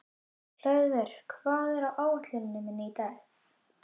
Hlöðver, hvað er á áætluninni minni í dag?